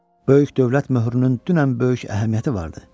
Böyük dövlət möhrünün dünən böyük əhəmiyyəti vardı.